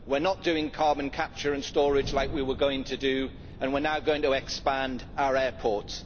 we are not doing carbon capture and storage like we were going to do, and we are now going to expand our airports.